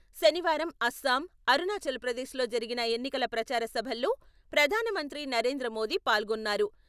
శనివారం అస్సాం, అరుణాచల్ ప్రదేశ్ లో జరిగిన ఎన్నికల ప్రచార సభల్లో ప్రధానమంత్రి నరేంద్రమోదీ పాల్గొన్నారు.